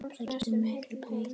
Það getur miklu breytt.